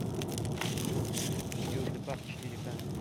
южный парк четыре ка